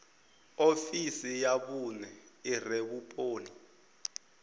ofisi ya vhune ire vhuponi